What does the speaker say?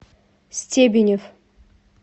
стебенев